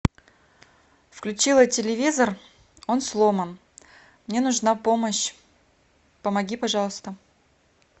включила телевизор он сломан мне нужна помощь помоги пожалуйста